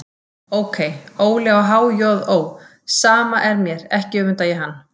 Ókei, Óli á há-joð-ó, sama er mér, ekki öfunda ég hann.